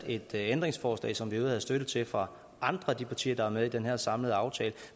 et ændringsforslag som vi havde støtte til fra andre af de partier der er med i den her samlede aftale